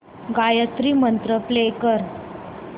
गायत्री मंत्र प्ले कर